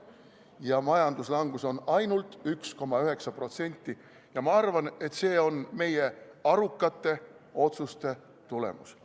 Ja majanduslangus on ainult 1,9% – ma arvan, et see on meie arukate otsuste tulemus.